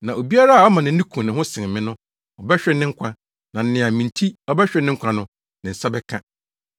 Na obiara a ɔma nʼani ku ne ho sen me no, ɔbɛhwere ne nkwa; na nea me nti ɔbɛhwere ne nkwa no, ne nsa bɛka.